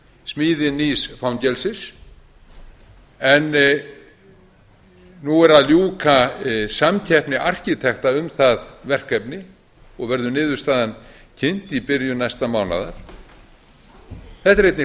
smíði nýs fangelsis en nú er að ljúka samkeppni arkitekta um það verkefni og verður niðurstaðan kynnt í byrjun næsta mánaðar þetta er einnig